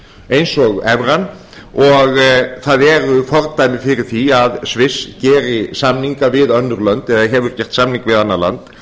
eins og evran og það eru fordæmi fyrir því að sviss geri samninga við önnur lönd eða hefur gert samninga við annað land